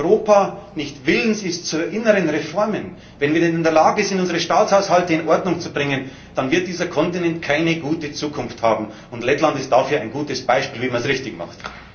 will. Aber wenn Europa nicht willens ist zu inneren Reformen, wenn wir denn nicht in der Lage sind, unsere Staatshaushalte in Ordnung zu bringen, dann wird dieser Kontinent keine gute Zukunft haben, und Lettland ist ein gutes Beispiel dafür, wie man es richtig macht.